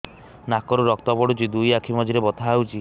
ନାକରୁ ରକ୍ତ ପଡୁଛି ଦୁଇ ଆଖି ମଝିରେ ବଥା ହଉଚି